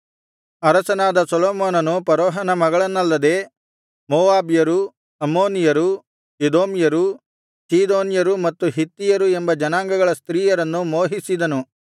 ಅರಸನಾದ ಸೊಲೊಮೋನನು ಫರೋಹನ ಮಗಳನ್ನಲ್ಲದೆ ಮೋವಾಬ್ಯರು ಅಮ್ಮೋನಿಯರು ಎದೋಮ್ಯರು ಚೀದೋನ್ಯರು ಮತ್ತು ಹಿತ್ತಿಯರು ಎಂಬ ಜನಾಂಗಗಳ ಸ್ತ್ರೀಯರನ್ನು ಮೋಹಿಸಿದನು